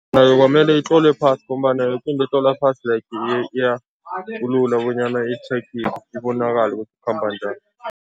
Nayo kwamele itlolwe phasi ngombana yoke into etlolwa phasi like bonyana ibonakale ukuthi ikhamba njani.